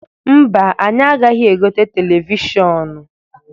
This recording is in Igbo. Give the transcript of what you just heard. Mba, anyi agaghị egote televishọnụ.